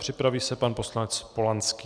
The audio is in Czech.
Připraví se pan poslanec Polanský.